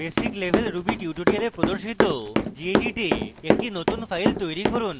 basic level ruby tutorials প্রদর্শিত gedit a একটি নতুন file তৈরী করুন